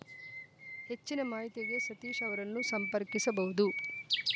ಹೆಚ್ಚಿನ ಮಾಹಿತಿಗೆ ಸತೀಶ್‌ ಅವರನ್ನು ಸಂಪರ್ಕಿಸಬಹುದು